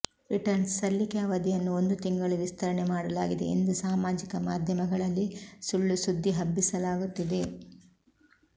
returns ಸಲ್ಲಿಕೆ ಅವಧಿಯನ್ನು ಒಂದು ತಿಂಗಳು ವಿಸ್ತರಣೆ ಮಾಡಲಾಗಿದೆ ಎಂದು ಸಾಮಾಜಿಕ ಮಾಧ್ಯಮಗಳಲ್ಲಿ ಸುಳ್ಳು ಸುದ್ದಿ ಹಬ್ಬಿಸಲಾಗುತ್ತಿದೆ